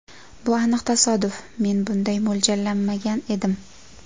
Bu aniq tasodif, men bunday mo‘ljallamagan edim.